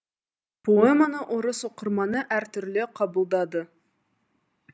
поэманы орыс оқырманы әртүрлі қабылдады